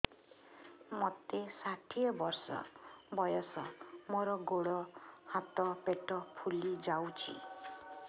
ମୋତେ ଷାଠିଏ ବର୍ଷ ବୟସ ମୋର ଗୋଡୋ ହାତ ପେଟ ଫୁଲି ଯାଉଛି